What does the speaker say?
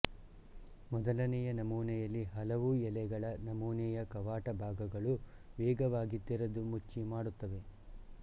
ಮೊದಲನೆಯ ನಮೂನೆಯಲ್ಲಿ ಹಲವು ಎಲೆಗಳ ನಮೂನೆಯ ಕವಾಟ ಭಾಗಗಳು ವೇಗವಾಗಿ ತೆರೆದು ಮುಚ್ಚಿ ಮಾಡುತ್ತವೆ